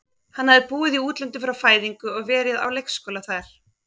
Hann hafði búið í útlöndum frá fæðingu og verið á leikskóla þar.